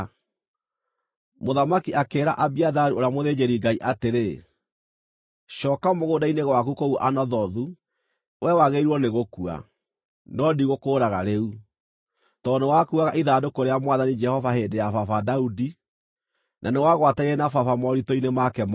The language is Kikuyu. Mũthamaki akĩĩra Abiatharu ũrĩa mũthĩnjĩri-Ngai atĩrĩ, “Cooka mũgũnda-inĩ gwaku kũu Anathothu. Wee wagĩrĩirwo nĩ gũkua, no ndigũkũũraga rĩu, tondũ nĩwakuuaga ithandũkũ rĩa Mwathani Jehova hĩndĩ ya baba Daudi, na nĩwagwatanĩire na baba moritũ-inĩ make mothe.”